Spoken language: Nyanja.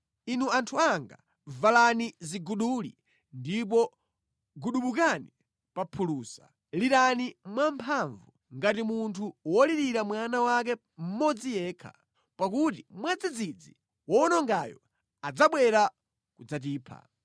Inu anthu anga, valani ziguduli ndipo gubudukani pa phulusa; lirani mwamphamvu ngati munthu wolirira mwana wake mmodzi yekha, pakuti mwadzidzidzi wowonongayo adzabwera kudzatipha.